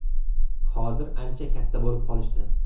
Hozir ancha katta bo‘lib qolishdi.